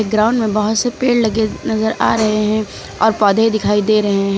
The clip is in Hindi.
ग्राउंड में बहोत से पेड़ लगे नजर आ रहे हैं और पौधे दिखाई दे रहे हैं।